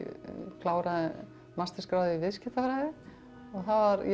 kláraði mastersgráðu í viðskiptafræði og ég